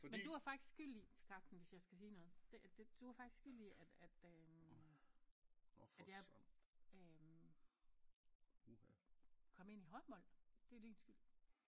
Men du var faktisk skyld i Karsten hvis jeg skal sige noget det det du var faktisk skyld i at at øh at jeg øh kom ind i håndbold det er din skyld